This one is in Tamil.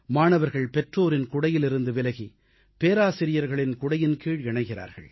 மாணவர்கள் பெற்றோரின் குடையிலிருந்து விலகி பேராசிரியர்களின் குடையின்கீழ் இணைகிறார்கள்